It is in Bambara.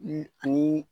ani